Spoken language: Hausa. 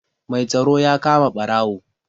Mai tsaro ya kama ɓarawo.